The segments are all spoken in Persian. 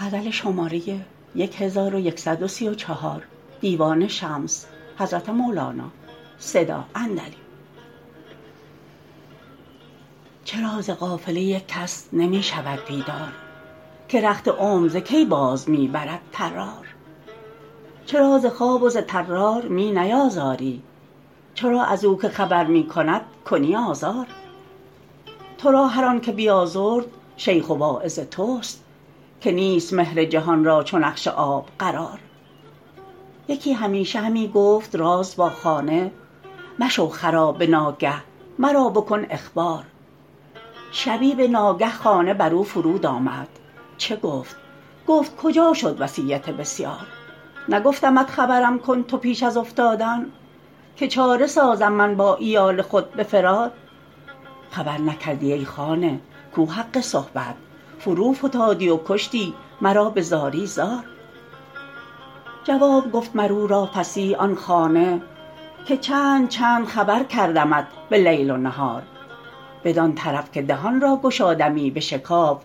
چرا ز قافله یک کس نمی شود بیدار که رخت عمر ز کی باز می برد طرار چرا ز خواب و ز طرار می نیازاری چرا از او که خبر می کند کنی آزار تو را هر آنک بیازرد شیخ و واعظ توست که نیست مهر جهان را چو نقش آب قرار یکی همیشه همی گفت راز با خانه مشو خراب به ناگه مرا بکن اخبار شبی به ناگه خانه بر او فرود آمد چه گفت گفت کجا شد وصیت بسیار نگفتمت خبرم کن تو پیش از افتادن که چاره سازم من با عیال خود به فرار خبر نکردی ای خانه کو حق صحبت فروفتادی و کشتی مرا به زاری زار جواب گفت مر او را فصیح آن خانه که چند چند خبر کردمت به لیل و نهار بدان طرف که دهان را گشادمی بشکاف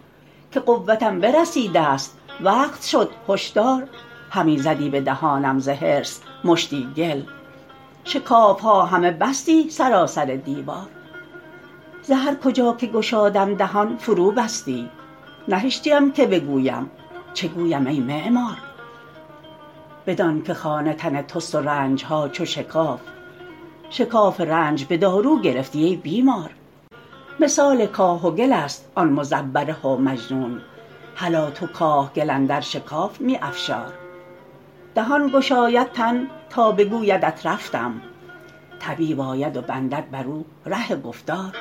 که قوتم برسیدست وقت شد هش دار همی زدی به دهانم ز حرص مشتی گل شکاف ها همه بستی سراسر دیوار ز هر کجا که گشادم دهان فروبستی نهشتیم که بگویم چه گویم ای معمار بدان که خانه تن توست و رنج ها چو شکاف شکاف رنج به دارو گرفتی ای بیمار مثال کاه و گلست آن مزوره و معجون هلا تو کاه گل اندر شکاف می افشار دهان گشاید تن تا بگویدت رفتم طبیب آید و بندد بر او ره گفتار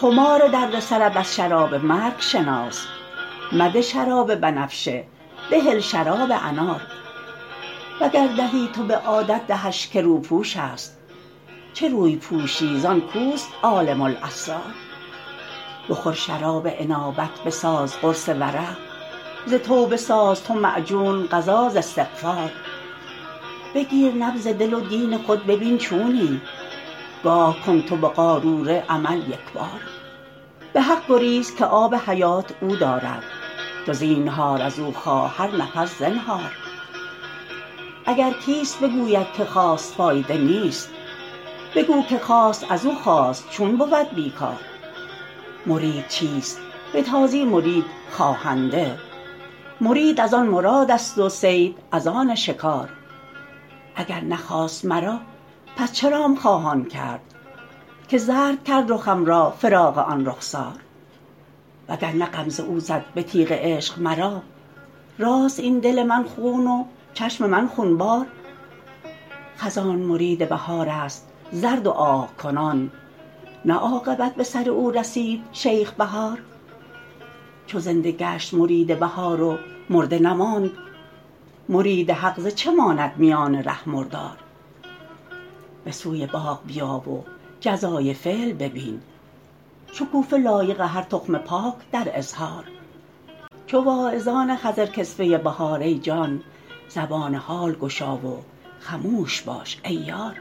خمار درد سرت از شراب مرگ شناس مده شراب بنفشه بهل شراب انار وگر دهی تو به عادت دهش که روپوشست چه روی پوشی زان کوست عالم الاسرار بخور شراب انابت بساز قرص ورع ز توبه ساز تو معجون غذا ز استغفار بگیر نبض دل و دین خود ببین چونی نگاه کن تو به قاروره عمل یک بار به حق گریز که آب حیات او دارد تو زینهار از او خواه هر نفس زنهار اگر کسیت بگوید که خواست فایده نیست بگو که خواست از او خاست چون بود بی کار مرید چیست به تازی مرید خواهنده مرید از آن مرادست و صید از آن شکار اگر نخواست مرا پس چرام خواهان کرد که زرد کرد رخم را فراق آن رخسار وگر نه غمزه او زد به تیغ عشق مرا چراست این دل من خون و چشم من خونبار خزان مرید بهارست زرد و آه کنان نه عاقبت به سر او رسید شیخ بهار چو زنده گشت مرید بهار و مرده نماند مرید حق ز چه ماند میان ره مردار به سوی باغ بیا و جزای فعل ببین شکوفه لایق هر تخم پاک در اظهار چو واعظان خضرکسوه بهار ای جان زبان حال گشا و خموش باش ای یار